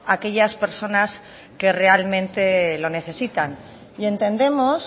a aquellas personas que realmente lo necesitan y entendemos